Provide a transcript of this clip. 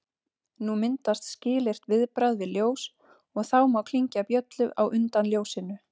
Nú myndast skilyrt viðbragð við ljós, og þá má klingja bjöllu á undan ljósinu.